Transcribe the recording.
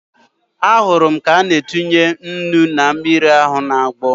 Ahụrụ m ka ọ na-etinye ụnu na mmiri ahu na-agbọ